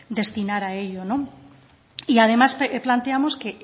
destinar a ello no y además planteamos que